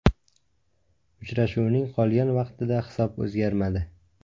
Uchrashuvning qolgan vaqtida hisob o‘zgarmadi.